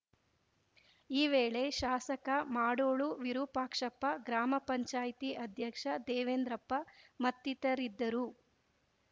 ಈ ವೇಳೆ ಶಾಸಕ ಮಾಡೊಳು ವಿರೂಪಾಕ್ಷಪ್ಪ ಗ್ರಾಮ ಪಂಚಾಯತಿ ಅಧ್ಯಕ್ಷ ದೇವೆಂದ್ರಪ್ಪ ಮತ್ತಿತರರಿದ್ದರು